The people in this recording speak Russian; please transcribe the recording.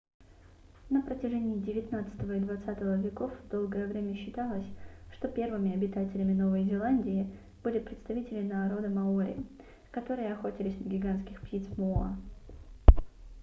на протяжении девятнадцатого и двадцатого веков долгое время считалось что первыми обитателями новой зеландии были представители народа маори которые охотились на гигантских птиц моа